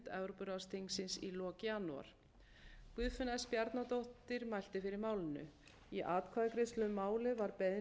evrópuráðsþingsins í lok janúar guðfinna s bjarnadóttir mælti fyrir málinu í atkvæðagreiðslu um málið var beiðni